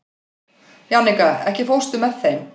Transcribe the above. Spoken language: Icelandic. Jannika, ekki fórstu með þeim?